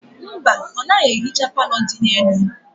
Mba, ọ naghị ehicha palọ dị n'elu.